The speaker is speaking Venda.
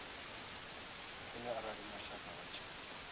lufuni arali mashaka vha tshi